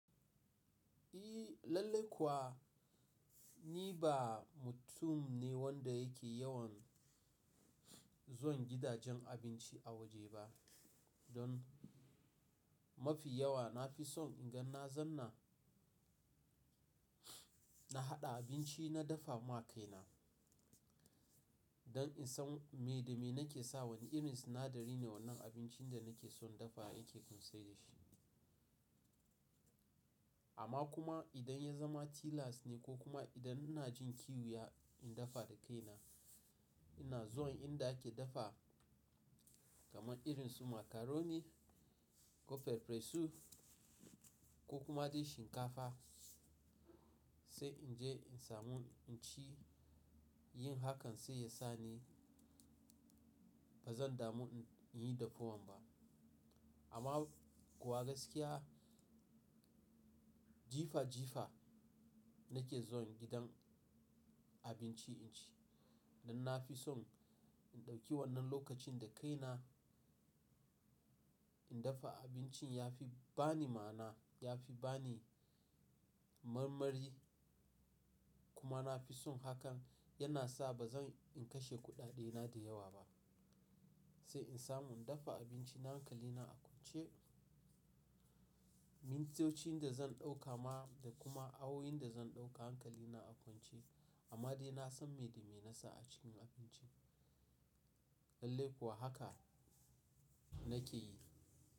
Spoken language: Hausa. Lallai kuwa ni ba mutum ne wanda yake yawan zuwa gidajen abinci a waje ba. Don mafi yawa na fi son in ga na zauna, na haɗa abinci na dafa ma kaina. Don in san me da me nake sawa, wane irin sinadari ne, wannan abincin da nake so in dafa yake kunshe da shi. Amma kuma idan ya zama tilas ne ko kuma idan ina jin kiwya in dafa da kaina, ina zuwa inda ake dafa kamar irin su macaroni ko pepper soup ko kuma dai shinkafa sai in je in samu in ci. Yin hakan sai ya sa ni ba zan damu in yi dafuwan ba. Amma kuwa gaskiya jifa jifa nake zuwa gidan abinci in ci. Don na fi son in ɗauki wannan lokacin da kaina, in dafa abincin ya fi ba ni ma'ana, ya fi ba ni marmari. Kuma na fi son hakan yana sa ba zan in kashe kuɗaɗe na da yawa ba. Sai in samu in dafa abinci na hankali, na a kwance mintocin da zan ɗauka ma da kuma awoyin da zan ɗauka hankali na a kwance. Amma dai na san me da me na sa a cikin abincin. Lallai kuwa haka nake yi.